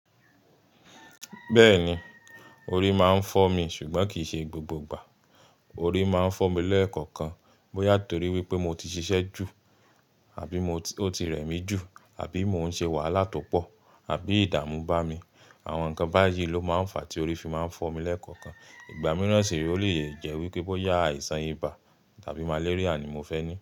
Bẹ́ẹ̀ni, orí máa ń fọ́ mi ṣùgbọ́n kì í ṣe gbogbo ìgbà. Orí máa ń fọ́ mi lẹ́ẹ̀kọ̀ọ̀kan bóyá torí wípé mo ti ṣiṣẹ́ jù àbí mo ti, o ti rẹ̀ mí jù àbí mo ń ṣe wàhálà tó pọ̀ àbí ìdààmú bá mi. Àwọn nǹkan báyìí ló máa ń fa tí orí fi máa ń fọ́ mi lẹ́ẹ̀kọ̀ọ̀kan. Ìgbà mìràn sì rè, ó lè jẹ́ àìsàn ibà tàbí malaria ni mo fẹ́ ní.